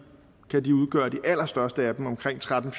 allerstørste af dem omkring tretten